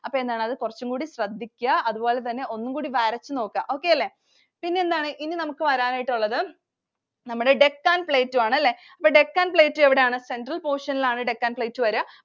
അപ്പൊ എന്താണ്. അത് കുറച്ചും കൂടി ശ്രദ്ധിക്ക. അതുപോലെതന്നെ ഒന്നുംകൂടി വരച്ചു നോക്ക. okay അല്ലേ? പിന്നെ എന്താണ് ഇനി നമുക്ക് വരാനായിട്ട് ഉള്ളത് നമ്മുടെ Deccan Plateau ആണല്ലേ. Deccan Plateau എവിടെയാണ്? Central portion ൽ ആണ് Deccan Plateau വരുക.